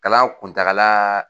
Kalan kuntakala.